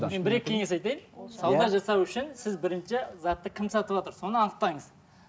мен бір екі кеңес айтайын сауда жасау үшін сіз бірінші затты кім сатыватыр соны анықтаңыз